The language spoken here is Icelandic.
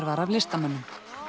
var af listamönnum